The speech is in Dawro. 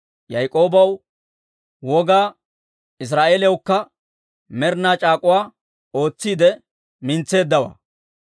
Yaak'oobaw wogaa, Israa'eeliyawukka med'ina c'aak'k'uwaa ootsiide mintseeddawaa.